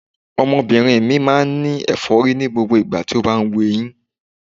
Ọmọbìnrin mi máa ń ní ẹ̀fọ́rí ní gbogbo ìgbà tó ń wu eyín.